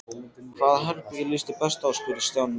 Hvaða herbergi líst þér best á? spurði Stjáni næst.